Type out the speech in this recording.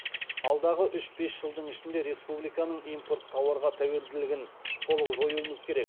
алдағы үш бес жылдың ішінде республиканың импорт тауарға тәуелділігін толық жоюымыз керек